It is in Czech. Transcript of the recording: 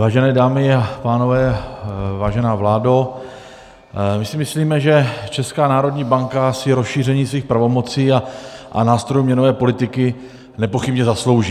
Vážené dámy a pánové, vážená vládo, my si myslíme, že Česká národní banka si rozšíření svých pravomocí a nástrojů měnové politiky nepochybně zaslouží.